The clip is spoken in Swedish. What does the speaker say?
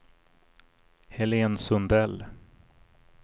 Helen Sundell